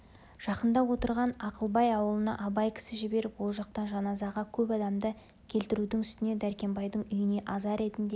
жақында отырған ақылбай аулына абай кісі жіберіп ол жақтан жаназаға көп адамды келтірудің үстіне дәркембайдың үйіне аза ретінде